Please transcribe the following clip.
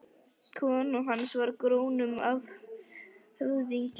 Kona hans var af grónum höfðingjaættum.